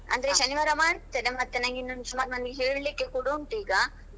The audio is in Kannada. ಅಂದ್ರೆ ಶನಿವಾರ ಮಾಡ್ತೇನೆ ಮತ್ತೆ ಇನ್ನು ಸುಮಾರ್ ಮಂದಿಗೆ ಹೇಳಿಕೆ ಕೊಡ ಉಂಟು ಈಗ.